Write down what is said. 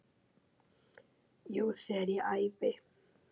Jú, þegar ég æfi.